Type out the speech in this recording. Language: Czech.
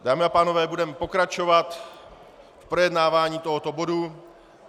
Dámy a pánové, budeme pokračovat v projednávání tohoto bodu.